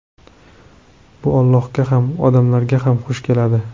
Bu Allohga ham, odamlarga ham xush keladi.